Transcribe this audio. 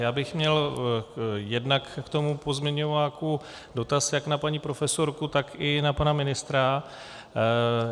Já bych měl jednak k tomu pozměňováku dotaz jak na paní profesorku, tak i na pana ministra.